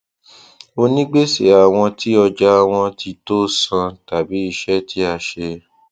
onígbèsè àwọn tí ọjà wọn tí tó san tàbí iṣẹ tí a ṣe